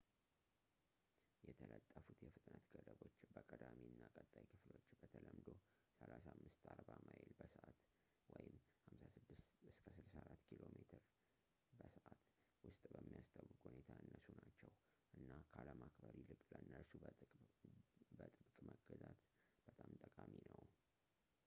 የተለጠፉት የፍጥነት ገደቦች በቀዳሚ እና ቀጣይ ክፍሎች — በተለምዶ 35-40 ማይል በሰዓት 56-64 ኪሜ/ሰ —ውስጥ በሚያስታውቅ ሁኔታ ያነሱ ናቸው እና ካለማክበር ይልቅ ለእነርሱ በጥብቅ መገዛት በጣም ጠቃሚ ነው